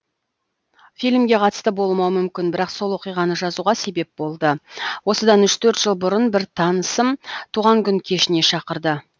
фильмге қатысты болмауы мүмкін бірақ сол оқиғаны жазуға себеп болды осыдан үш төрт жыл бұрын бір танысым туған күн кешіне шақырды